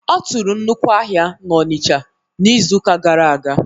Ọ tụrụ nnukwu ahịa n'Onicha n', ịzụka gara aga